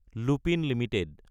Lupin Ltd